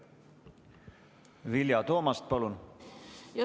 Vilja Toomast, palun!